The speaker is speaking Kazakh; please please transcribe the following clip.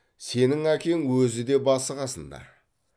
сенің әкең өзі де басы қасында